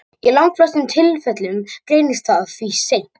Í langflestum tilfellum greinist það því seint.